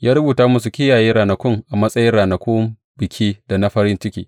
Ya rubuta musu su kiyaye ranakun a matsayin ranakun biki da na farin ciki.